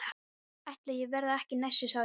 Ætli ég verði ekki næstur sagði ég.